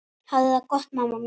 Hafðu það gott mamma mín.